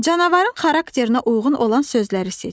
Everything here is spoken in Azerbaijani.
Canavarın xarakterinə uyğun olan sözləri seç.